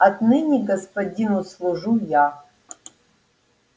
отныне господину служу я